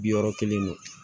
Bi wɔɔrɔ kelen don